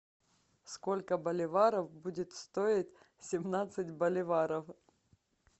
сколько боливаров будет стоить семнадцать боливаров